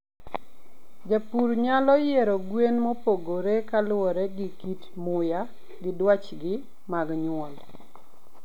jopur nyalo yiero gwen mopogore kalure gi kit muya gi dwachgi mag nyuol